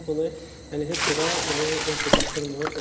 Biz bunu yəni heç cürə yəni məhdudlaşdırmırıq.